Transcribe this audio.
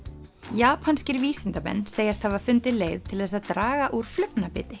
japanskir vísindamenn segjast hafa fundið leið til þess að draga úr